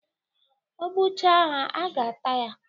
O gbucha ha, a ga-ata ya.